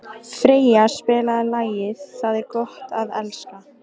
Freyja, spilaðu lagið „Það er gott að elska“.